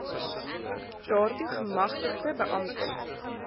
daartoe gemagtigde beamptes